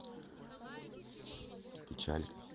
печаль